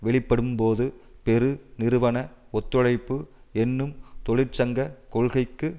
வெளிப்படும்போது பெருநிறுவன ஒத்துழைப்பு என்னும் தொழிற்சங்க கொள்கைக்கு